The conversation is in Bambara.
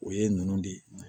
O ye ninnu de ye